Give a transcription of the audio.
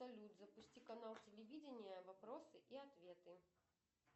салют запусти канал телевидения вопросы и ответы